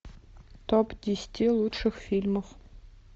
топ десяти лучших фильмов